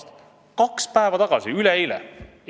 See uudis tuli kaks päeva tagasi, üleeile!